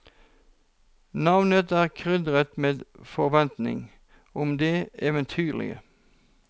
Navnet er krydret med forventning om det eventyrlige.